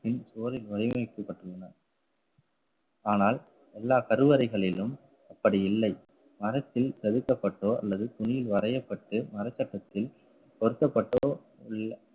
பின் சுவரின் வடிவமைக்கப்பட்டுள்ளன. ஆனால் எல்லா கருவறைகளிலும் அப்படி இல்லை மரத்தில் தவிர்க்கப்பட்டோ அல்லது துணியில் வரையப்பட்டு மரச்சட்டத்தில் பொருத்தப்பட்டோ இல்லை